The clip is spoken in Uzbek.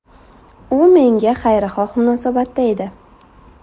U menga xayrixoh munosabatda edi.